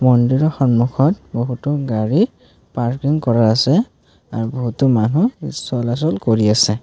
মন্দিৰৰ সন্মুখত বহুতো গাড়ী পাৰ্কিং কৰা আছে আৰু বহুতো মানুহ চলাচল কৰি আছে।